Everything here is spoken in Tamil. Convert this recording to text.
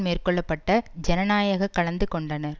மேற்கொள்ள பட்ட ஜனநாயக கலந்து கொண்டனர்